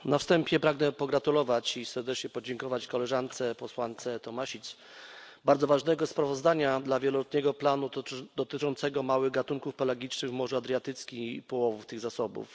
Na wstępie pragnę pogratulować i serdecznie podziękować koleżance posłance Tomašić bardzo ważnego sprawozdania w sprawie wieloletniego planu dotyczącego małych gatunków pelagicznych w Morzu Adriatyckim i połowów tych zasobów.